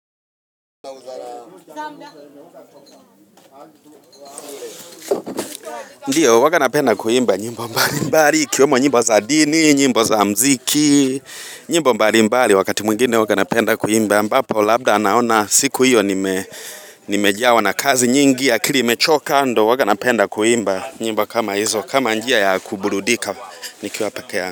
Ndio huwanga napenda kuimba nyimbo mbali mbali ikiwemo nyimbo za dini, nyimbo za mziki, nyimbo mbali mbali wakati mwingine huwanga napenda kuimba ambapo labda naona siku hiyo nimejawa na kazi nyingi akili imechoka ndo huwanga napenda kuimba nyimbo kama hizo kama njia ya kuburudika nikiwapekee.